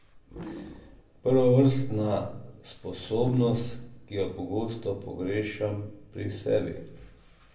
Prvovrstna sposobnost, ki jo pogosto pogrešam pri sebi.